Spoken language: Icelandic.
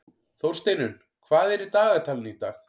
Þórsteinunn, hvað er í dagatalinu í dag?